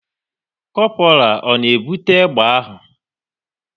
Kopral ọ na-ebute egbe ahụ?